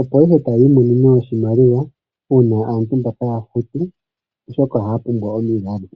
opo ihe taya imonene oshimaliwa, uuna aantu mbaka taya futu, oshoka ohaya pumbwa omilalo.